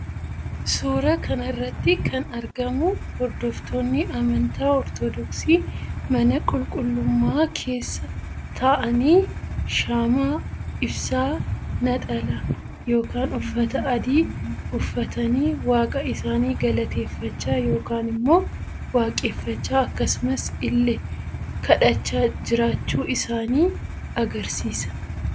Suuraa kanarratti kan argamu hordoftoonni amantaa ortoodooksii mana qulqullummaa kessa ta'aanii shaama ibsaa, naxala yookaan uffata adii uffatanii waaqa isaanii galateeffachaa yookaan immoo waaqeffachaa akkasumas ille kadhachaa jiraachuu isaanii agarsiisa.